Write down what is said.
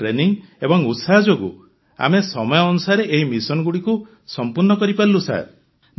ଆମ ଟ୍ରେନିଂ ଏବଂ ଉତ୍ସାହ ଯୋଗୁ ଆମେ ସମୟ ଅନୁସାରେ ଏହି ମିଶନ ଗୁଡ଼ିକୁ ସମ୍ପୂର୍ଣ୍ଣ କରିପାରିଲୁ ସାର୍